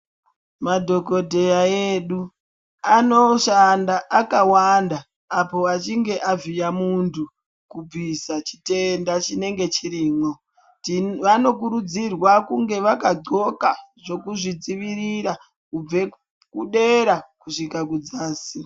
Madhokodheya edu anoshanda akawanda apo achinge avhiya muntu kubvisa chitenda chinenge chirimo vanokuridzirwa kunge vakadhloka zvekuzvidzivirira kubve kudera kusvika kudzasi.